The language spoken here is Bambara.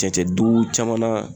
Cɛncɛn dugu caman na